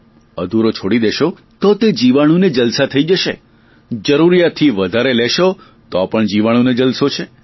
અધૂરો છોડી દેશો તો પણ તે જીવાણુને જલસા થઇ જશે જરૂરિયાતથી વધુ લેશો તો પણ જીવાણુને જલસો છે